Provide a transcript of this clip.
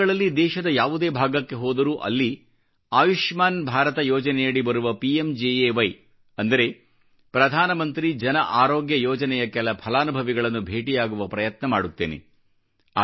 ಈ ದಿನಗಳಲ್ಲಿ ದೇಶದ ಯಾವುದೇ ಭಾಗಕ್ಕೆ ಹೋದರೂ ಅಲ್ಲಿ ಆಯುಷ್ಮಾನ್ ಭಾರತ ಯೋಜನೆಯಡಿ ಬರುವ ಪಿಎಂಜೆಎವೈ ಅಂದರೆ ಪ್ರಧಾನಮಂತ್ರಿ ಜನ ಆರೋಗ್ಯ ಯೋಜನೆಯ ಕೆಲ ಫಲಾನುಭವಿಗಳನ್ನು ಭೇಟಿಯಾಗುವ ಪ್ರಯತ್ನ ಮಾಡುತ್ತೇನೆ